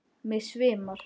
Mig svimar.